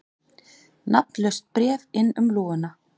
Nafnlaust bréf inn um lúguna